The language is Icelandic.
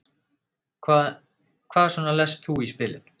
Hvað, hvað svona lest þú í spilin?